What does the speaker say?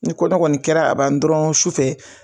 Ni kɔnɔ kɔni kɛra ka ban dɔrɔn su fɛ